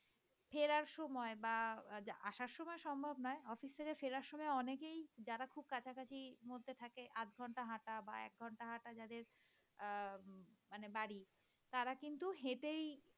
ফেরার সময় বা আসার সময় সম্ভব নয় । অফিস থেকে ফেরার সময় অনেকেই যারা খুব কাছাকাছি মধ্যে থাকে আধঘন্টা হাটা বা এক ঘন্টা হাটা যাদের আহ মানে যাদের বাড়ি। তারা কিন্তু হেটেই